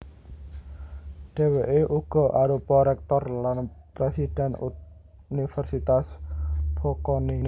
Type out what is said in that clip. Dhèwèké uga arupa réktor lan présidhèn Universitas Bocconi